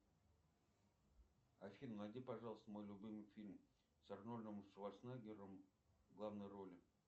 афина найди пожалуйста мой любимый фильм с арнольдом шварцнеггером в главной роли